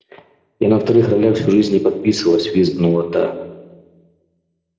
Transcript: и на вторых ролях всю жизнь не подписывалась визгнула та